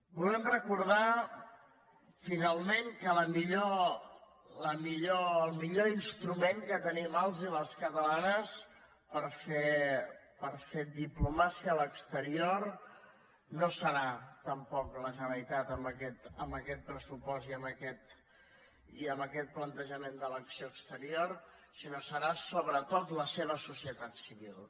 volem recordar finalment que el millor instrument que tenim els i les catalanes per fer diplomàcia a l’exterior no serà tampoc la generalitat amb aquest pressupost i amb aquest plantejament de l’acció exterior sinó que serà sobretot la seva societat civil